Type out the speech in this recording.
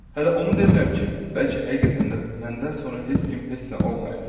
Hələ onu demirəm ki, bəlkə həqiqətən də məndən sonra heç kim heç nə olmayacaq.